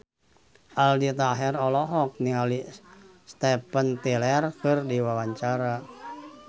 Aldi Taher olohok ningali Steven Tyler keur diwawancara